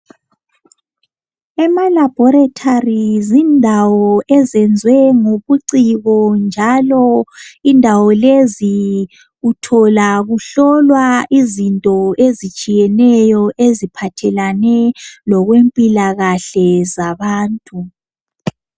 Amalabhoretori zindawo ezenziwe ngobuciko njalo kuhlolwa izinto ezitshiyeneyo eziphathelane lempilakahle yabantu.